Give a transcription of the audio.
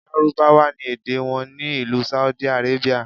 Lárúbáwá ni èdè wọn ní ìlú Saudi Arabia.